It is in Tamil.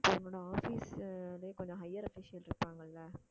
உன்னோட office லயே கொஞ்சம் higher official இருப்பாங்கல்ல